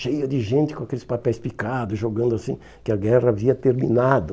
Cheia de gente com aqueles papéis picados, jogando assim, que a guerra havia terminado.